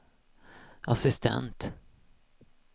assistent